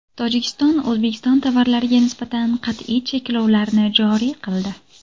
Tojikiston O‘zbekiston tovarlariga nisbatan qat’iy cheklovlarni joriy qildi.